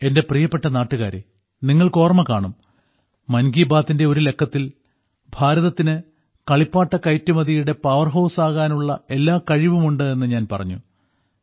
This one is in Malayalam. എന്റെ പ്രിയപ്പെട്ട നാട്ടുകാരേ നിങ്ങൾക്ക് ഓർമ്മ കാണും മൻ കി ബാത്തിന്റെ ഒരു ലക്കത്തിൽ ഭാരതത്തിന് കളിപ്പാട്ട കയറ്റുമതിയുടെ പവർ ഹൌസ് ആകാനുള്ള എല്ലാ കഴിവും ഉണ്ട് എന്ന് ഞാൻ പറഞ്ഞു